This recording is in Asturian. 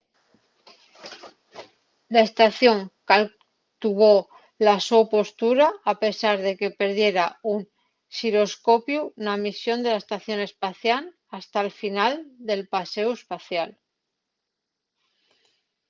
la estación caltuvo la so postura a pesar de que perdiera un xiroscopiu na misión de la estación espacial hasta'l final del paséu espacial